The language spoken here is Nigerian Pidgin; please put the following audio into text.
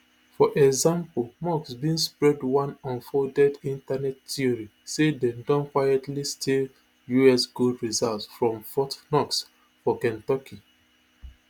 for example musk bin spread one unfounded internet theory say dem don quietly steal us gold reserves from fort knox for kentucky